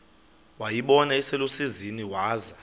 wayibona iselusizini waza